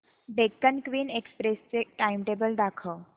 Deccan queen express चे timetable दाखव